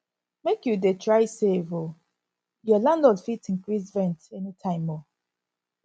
make you dey try save o your landlord fit increase rent anytime o